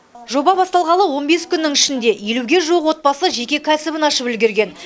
жоба басталғалы он бес күннің ішінде елуге жуық отбасы жеке кәсібін ашып үлгерген